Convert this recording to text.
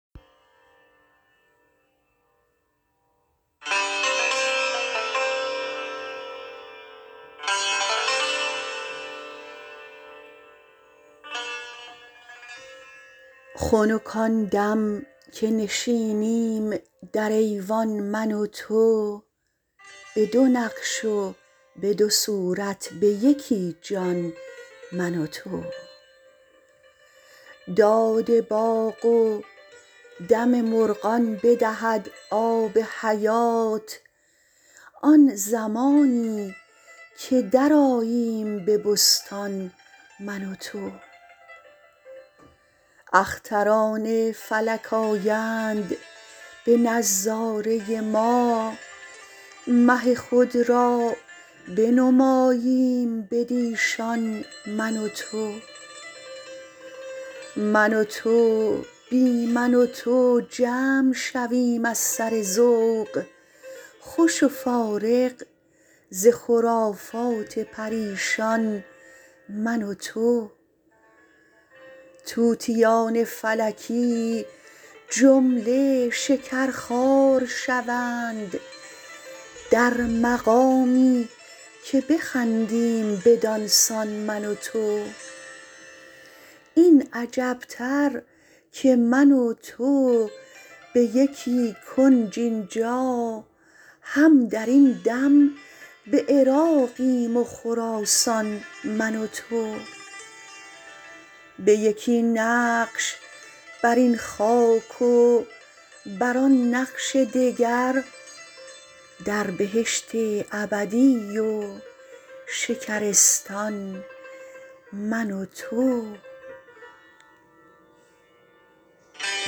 خنک آن دم که نشینیم در ایوان من و تو به دو نقش و به دو صورت به یکی جان من و تو داد باغ و دم مرغان بدهد آب حیات آن زمانی که درآییم به بستان من و تو اختران فلک آیند به نظاره ما مه خود را بنماییم بدیشان من و تو من و تو بی من و تو جمع شویم از سر ذوق خوش و فارغ ز خرافات پریشان من و تو طوطیان فلکی جمله شکرخوار شوند در مقامی که بخندیم بدان سان من و تو این عجب تر که من و تو به یکی کنج این جا هم در این دم به عراقیم و خراسان من و تو به یکی نقش بر این خاک و بر آن نقش دگر در بهشت ابدی و شکرستان من و تو